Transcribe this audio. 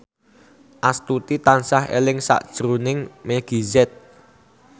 Astuti tansah eling sakjroning Meggie Z